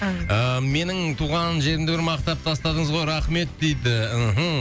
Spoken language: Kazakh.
ыыы менің туған жерімді бір мақтап тастадыңыз ғой рахмет дейді мхм